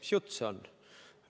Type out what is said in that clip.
Mis jutt see on?